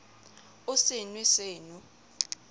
o se nw e seno